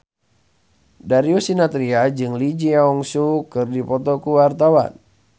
Darius Sinathrya jeung Lee Jeong Suk keur dipoto ku wartawan